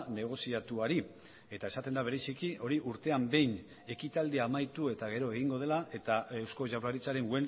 negoziatuari eta esaten da bereziki hori urtean behin ekitaldia amaitu eta gero egingo dela eta eusko jaurlaritzaren